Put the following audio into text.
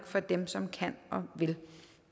for dem som kan og vil